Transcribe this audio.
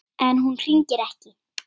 En hún hringir ekki.